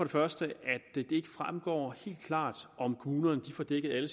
første at det ikke fremgår helt klart om kommunerne får dækket alle